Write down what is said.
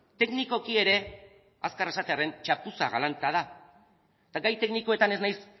teknikoki ere azkar esatearren txapuza galanta da eta gai teknikoetan ez naiz